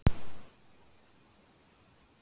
Thomas rumskaði ekki.